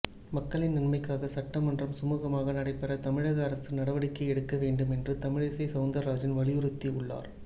மக்களின் நன்மைக்காக சட்டமன்றம் சுமூகமாக நடைபெற தமிழக அரசு நடவடிக்கை எடுக்க வேண்டும் என்று தமிழிசை சவுந்திரராஜன் வலியுறுத்தி உள்ளார்